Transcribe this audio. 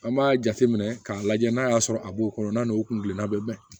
An b'a jateminɛ k'a lajɛ n'a y'a sɔrɔ a b'o kɔnɔ n'a n'o kun gilina bɛ bɛn